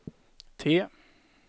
T